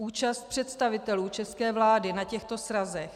Účast představitelů české vlády na těchto srazech.